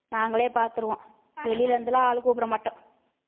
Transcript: நாங்களே பாத்துருவோம் வெளில இருந்தெல்லாம் ஆள் கூப்பிட மாட்டோம்